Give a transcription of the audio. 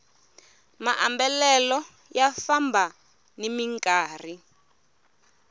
maambalelo ya famba nimi nkarhi